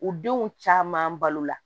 U denw caman balo la